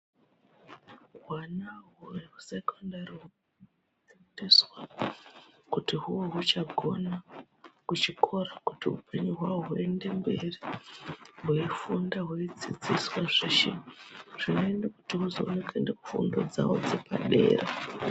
Hwana hwe hwekusekondari fundiswa kuti huwe huchagona kuchikora kuti upenyu hwawo huende mberi hweifunda hweidzidziswe zveshe zvinoite kuti huzone kuende kufundo dzawo dzepadera.